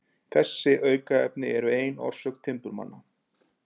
Þessi aukaefni eru ein orsök timburmanna.